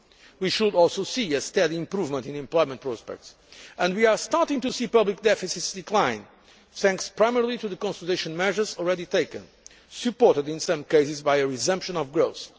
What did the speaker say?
We should also see a steady improvement in employment prospects and we are starting to see public deficits decline, thanks primarily to the consolidation measures already taken, supported in some cases by a resumption of growth.